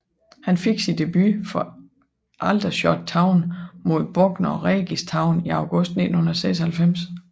Han fik sin debut for Aldershot Town mod Bognor Regis Town i august 1996